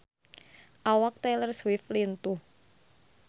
Awak Taylor Swift lintuh